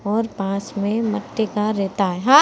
और पास में मटी का रेता है।